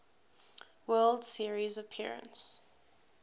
world series appearance